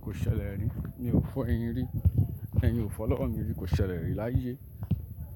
Ko ṣe lẹ́rì, mi ò fọ eyín rí, eyin ò fọ lọ́wọ́ mi rí, ko ṣe lẹ́rì láyé.